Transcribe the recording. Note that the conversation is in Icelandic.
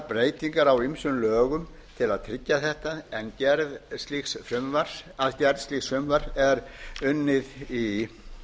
breytingar á ýmsum lögum til að tryggja þetta en að gerð slíks frumvarps er unnið í